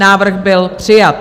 Návrh byl přijat.